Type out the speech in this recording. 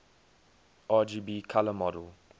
rgb color model